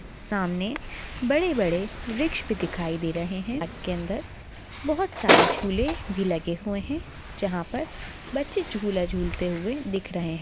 सामने बड़े बड़े वृक्ष भी दिखाई दे रहे है पार्क के अंदर बहुत सारे झूले भी लगे हुए है जहाँ पर बच्चे झूला झूलते हुए दिख रहे है।